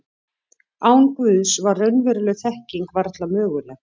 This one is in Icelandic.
Án Guðs var raunveruleg þekking varla möguleg.